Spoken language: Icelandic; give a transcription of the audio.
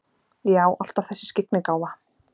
Já, alltaf þessi skyggnigáfa.